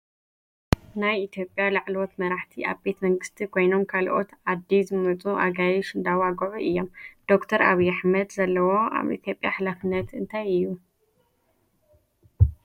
ናይ ኢትዮጰያ ላዕለዎት መራሕቲ ኣብ ቤተ መንግቲ ኮይኖም ካልኦት ኣዲ ዝመፁ ኣጋይ እንዳዋግዑ እዮም። ደ/ር ኣብይ ኣሕመድ ዘለዎ ኣብ ኢትዮጰያ ሓለፍነት እንታይ እዩ ?